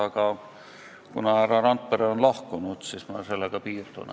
Aga kuna härra Randpere on lahkunud, siis ma sellega piirdun.